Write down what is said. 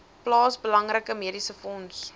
plaas belangrike mediesefonds